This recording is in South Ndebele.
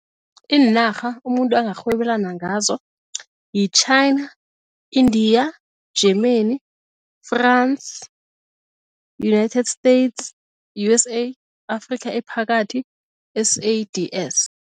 Iinarha umuntu angarhwebelana ngazo yi-China, India, Germany, France, United States USA, Afrika ephakathi S_A_D_S.